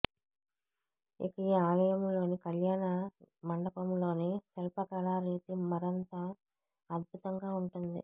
ఇక ఈ ఆలయంలోని కళ్యాణ మంటపంలోని శిల్పకళా రీతి మరంత అద్భుతంగా ఉంటుంది